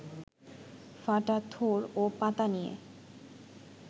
ফাটা থোড় ও পাতা নিয়ে